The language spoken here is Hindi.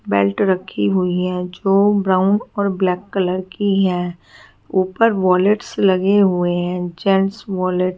बेल्ट रखी हुयी है जो ब्राउन और ब्लैक कलर की है ऊपर वॉलेट्स लगे हुए है जेंट्स वॉलेट --